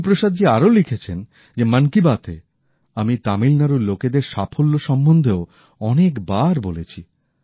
গুরুপ্রসাদজী আরো লিখেছেন যে মন কি বাত এ আমি তামিলনাড়ুর লোকেদের সাফল্য সম্বন্ধেও অনেকবার বলেছি